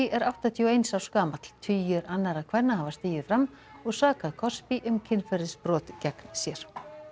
er áttatíu og eins árs gamall tugir annarra kvenna hafa stigið fram og sakað um kynferðisbrot gegn sér